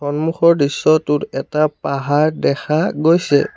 সন্মুখৰ দৃশ্যটোত এটা পাহাৰ দেখা গৈছে।